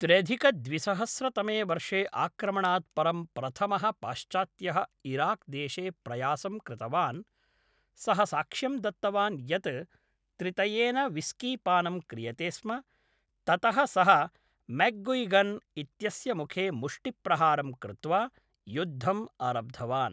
त्र्यधिकद्विसहस्रतमे वर्षे आक्रमणात् परं प्रथमः पाश्चात्त्यः इराक्देशे प्रयासं कृतवान्, सः साक्ष्यं दत्तवान् यत् त्रितयेन व्हिस्कीपानं क्रियते स्म, ततः सः मैक्गुइगन् इत्यस्य मुखे मुष्टिप्रहारं कृत्वा युद्धम् आरब्धवान्।